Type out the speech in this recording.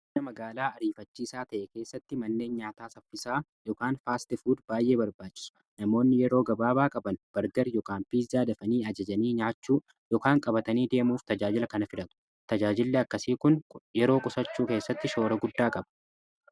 aanaa magaalaa ariifachiisaa ta'e keessatti manneen nyaataa saffisaa faastifuud baay'ee barbaachisu namoonni yeroo gabaabaa qaban bargar ykn piizaa dafanii ajajanii nyaachuu ykaan qabatanii deemuuf tajaajila kana fidhatu tajaajillee akkasii kun yeroo qusachuu keessatti shoora guddaa qaba